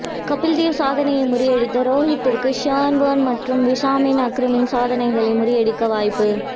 கபில்தேவ் சாதனையை முறியடித்த ஹேரத்திற்கு ஷேன்வோர்ன் மற்றும் வசிம் அக்ரமின் சாதனைகளையும் முறியடிக்க வாய்ப்பு